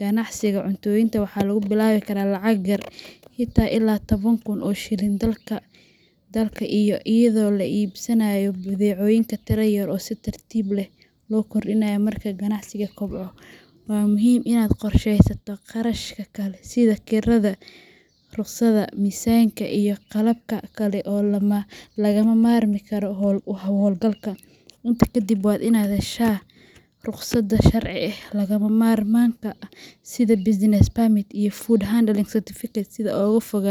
Ganacsiga cuntooyinka waxaa lagu bilaabi karaa lacag yar, xitaa ilaa toban kun oo shilinka dalka ah, iyadoo la iibsanayo badeecooyin tiro yar ah oo si tartiib tartiib ah loo kordhiyo marka ganacsigu kobco. Waxaa muhiim ah inaad qorsheysato kharashaadka kale sida kirada, rukhsadaha, miisaanka, iyo qalabka kale ee lagama maarmaanka u ah hawlgalka. Intaa kadib, waa inaad heshaa rukhsadaha sharci ee lagama maarmaanka ah sida Business Permit iyo Food Handling Certificate si aad uga fogaato.